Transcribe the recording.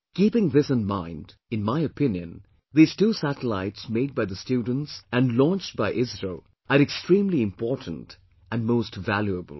Keeping this in mind, in my opinion, these two satellites made by the students and launched by ISRO, are extremely important and most valuable